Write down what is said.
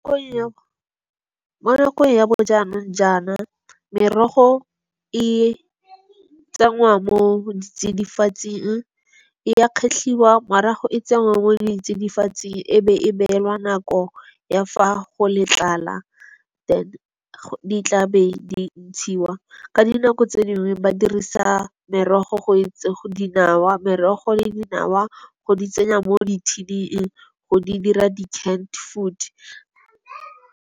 Mo nakong ya bojaana jaana merogo e tsenngwa mo ditsidifatsing, e ya kgetlhiwa, morago e tsenngwa mo ditsidifatsing, e be e beelwa nako ya fa go le tlala then di tla be di ntshiwa. Ka dinako tse dingwe ba dirisa merogo le dinawa go di tsenya mo di-tin-ing go di dira di-canned food.